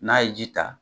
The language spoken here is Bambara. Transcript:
N'a ye ji ta